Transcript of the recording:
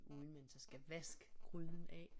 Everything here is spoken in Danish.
Uden man så skal vaske gryden af